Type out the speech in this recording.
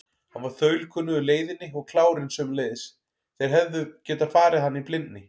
Hann var þaulkunnugur leiðinni og klárinn sömuleiðis, þeir hefðu getað farið hana í blindni.